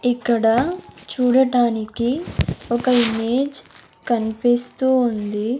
ఇక్కడ చూడటానికి ఒక ఇమేజ్ కన్పిస్తూ ఉంది.